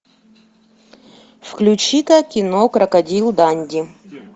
включи ка кино крокодил данди